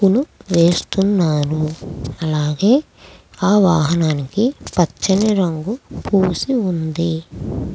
వేస్తున్నారు అలాగే ఆ వాహనాన్ని పచ్చని రంగు పూసి ఉంది.